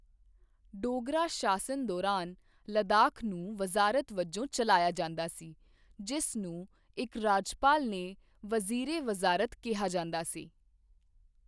ਡੋਗਰਾ ਸ਼ਾਸਨ ਦੌਰਾਨ ਲੱਦਾਖ ਨੂੰ ਵਜ਼ਾਰਤ ਵਜੋਂ ਚਲਾਇਆ ਜਾਂਦਾ ਸੀ, ਜਿਸ ਨੂੰ ਇੱਕ ਰਾਜਪਾਲ ਨੇ ਵਜ਼ੀਰ ਏ ਵਜ਼ਾਰਤ ਕਿਹਾ ਜਾਂਦਾ ਸੀ।